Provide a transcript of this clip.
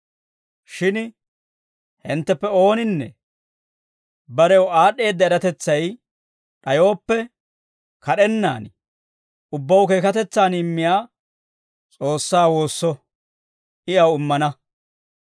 Shin hintteppe ooninne barew aad'd'eedda eratetsay d'ayooppe, kad'ennaan ubbaw keekatetsan immiyaa S'oossaa woosso. I aw immana.